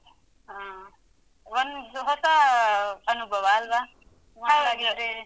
ಹ್ಮ್. ಒಂದು ಹೊಸಾ ಅನುಭವ ಅಲ್ವ? ಅದೆ.